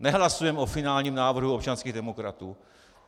Nehlasujeme o finálním návrhu občanských demokratů.